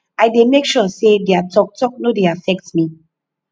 i dey make sure sey their talk talk no dey affect me